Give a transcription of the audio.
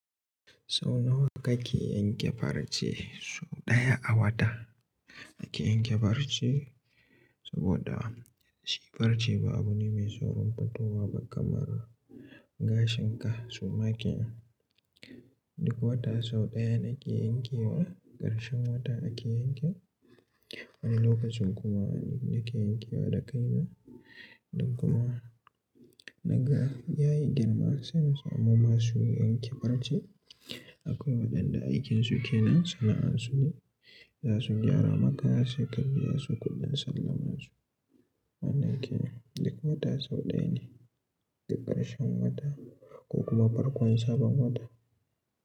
Sau nawa kake yanke farce? Sauɗaya a wata ake yanke farce saboda shi farce ba abu ne mai saurin fitowa ba kamar gashin ka suma ke duk wata sau ɗayan ake yankewa ƙarshen wata ake yanke wani lokacin kuma da ke yankewa da kaina. Don kuma na ga yayi girma sai mu masu yanke farce akwai waɗanda aikin su kenan sana'an su ne za su gyara maka sai ka biya su kuɗin sallamansu. Nan ake duk wata sau ɗaya ne da ƙarshen wata ko kuma farkon sabon wata.